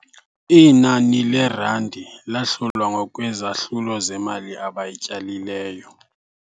Inani leerandi lahlulwa ngokwezahlulo zemali abayityalileyo.